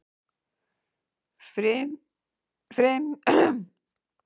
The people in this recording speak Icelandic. Frymisnet er af tveimur mismunandi gerðum.